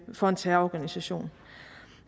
for en terrororganisation